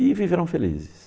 E viveram felizes.